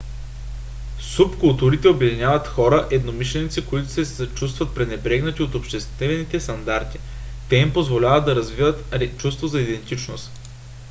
субкултурите обединяват хора-единомишленици които се чувстват пренебрегнати от обществените стандарти. те им позволяват да развият чувство за идентичност